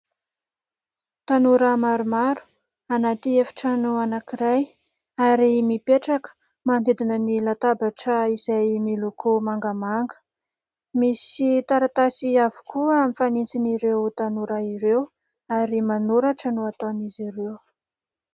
Tanora maromaro anaty efitrano anankiray ary mipetraka manodidina ny latabatra izay miloko mangamanga. Misy taratasy avokoa mifanintsin'ireo tanora ireo ary manoratra no ataon'izy ireo.